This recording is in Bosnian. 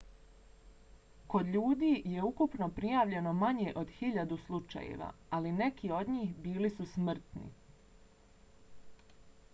kod ljudi je ukupno prijavljeno manje od hiljadu slučajeva ali neki od njih bili su smrtni